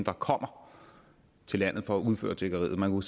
der kommer til landet for at udføre tiggeriet man